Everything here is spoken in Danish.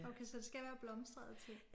Okay så det skal være blomstrede ting?